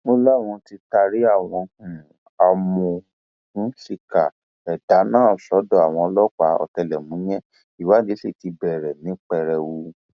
ó láwọn tí taari àwọn um amòòkùnṣìkà ẹdà náà sọdọ àwọn ọlọpàá ọtẹlẹmúyẹ ìwádìí sì ti bẹrẹ um ní pẹrẹu